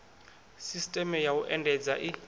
sisteme ya u endedza i